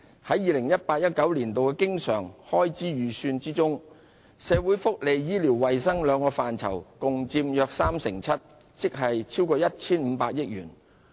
在 2018-2019 年度的經常開支預算中，社會福利及醫療衞生兩個範疇共佔約 37%， 即超過 1,500 億元。